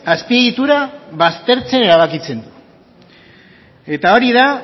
azpiegitura baztertzea erabakitzen du eta hori da